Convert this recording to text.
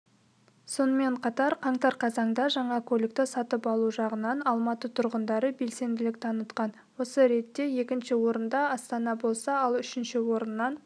сонымен қатар қаңтар-қазанда жаңа көлікті сатып алу жағынан алматы тұрғындары белсенділік танытқан осы ретте екінші орында астана болса ал үшінші орыннан